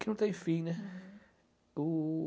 que não tem fim, né? Uhum